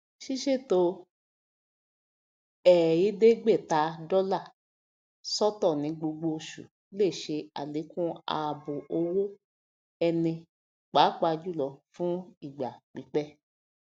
ṣíṣètò ẹẹdégbèta dólà sọtọ ní gbogbo oṣù lè ṣe àlẹkùn ààbò owó ẹni pàápàá jùlọ fún ìgbà pípẹ